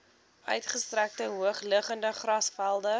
uitgestrekte hoogliggende grasvelde